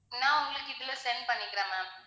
நான் உங்களுக்கு இதுல send பண்ணிடறேன் ma'am